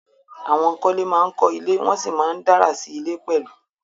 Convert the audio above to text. Àwọn akọ́lé ma ń kọ́ ilé, wọ́n sì ma ń dárà sí ilé pẹ̀lú